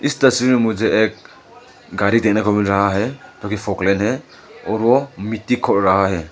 इस तस्वीर में मुझे एक गाड़ी देखने को मिल रहा है वो की फोकलेन है। और वो मिट्टी खोद रहा है।